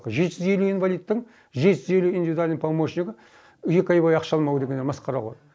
жеті жүз елу инвалидтің жеті жүз елу индивидульный помощнигі екі ай бойы ақша алмау деген енді масқара ғой